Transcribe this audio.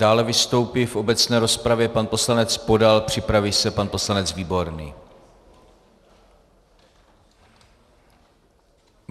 Dále vystoupí v obecné rozpravě pan poslanec Podal, připraví se pan poslanec Výborný.